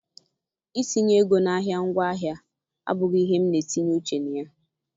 Itinye ego n'ahịa ngwaahịa abụghị ihe m n'etinye uche na ya.